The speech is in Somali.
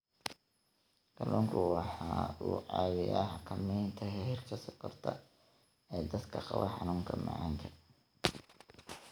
Kalluunku waxa uu caawiyaa xakamaynta heerka sonkorta ee dadka qaba xanuunka macaanka.